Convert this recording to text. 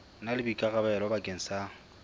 na le boikarabelo bakeng sa